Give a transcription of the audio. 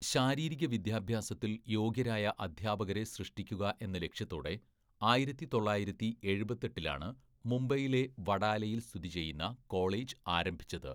ശാരീരിക വിദ്യാഭ്യാസത്തിൽ യോഗ്യരായ അധ്യാപകരെ സൃഷ്ടിക്കുക എന്ന ലക്ഷ്യത്തോടെ ആയിരത്തി തൊള്ളായിരത്തി എഴുപത്തെട്ടിലാണ്‌ മുംബൈയിലെ വഡാലയിൽ സ്ഥിതി ചെയ്യുന്ന കോളേജ് ആരംഭിച്ചത്.